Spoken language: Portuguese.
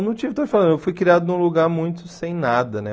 Não tive, estou falando, eu fui criado num lugar muito sem nada, né?